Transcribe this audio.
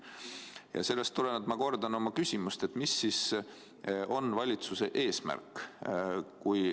Ja sellest tulenevalt ma kordan oma küsimust: mis on valitsuse eesmärk?